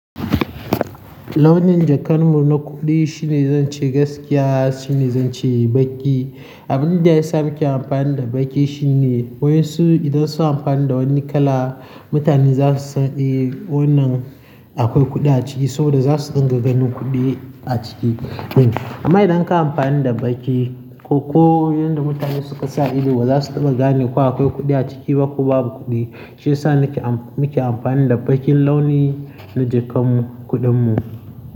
Launin jakan mu na kuɗi shine zan ce gaskiya shine zan ce baƙi. Abin da ya sa muke amfani da baƙi shine waƴansu idan suna amfani da wani kala mutane za su san eh wannan akwai kuɗi a ciki saboda za su ringa ganin kuɗi a ciki ɗin. Amma idan ka yi amfani da baƙi ko, ko yanda mutane suka sa ido ba za su taɓa gane ko akwai kuɗi a ciki ba ko babu kuɗi. Shiyasa nake am muke amfani da baƙin launi na jakan mu kuɗin mu.